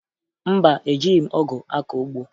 Mba, ejighi m ọgụ akọ ugbo